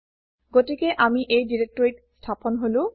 গতিকে আমি এই ডিৰেক্টৰীত স্থাপন হলো